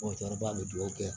bɛ duwawu kɛ